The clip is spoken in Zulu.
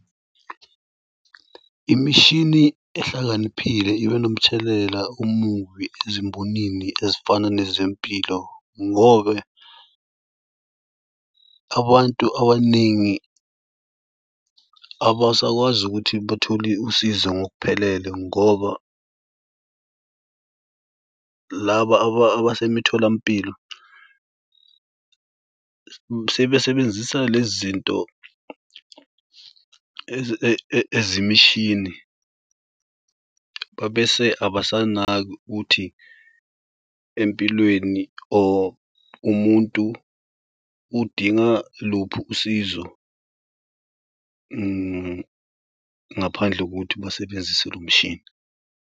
Imishini ehlakaniphile ibe nomthelela omubi ezimbonini ezifana nezempilo ngobe abantu abaningi abasakwazi ukuthi bathole usizo ngokuphelele ngoba laba abasemitholampilo sebesebenzisa lezi zinto ezimishini. Babese abasanaki ukuthi empilweni or umuntu udinga luphi usizo ngaphandle kokuthi basebenzise lo mshini.